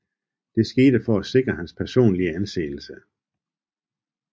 Det skete for at sikre hans personlige anseelse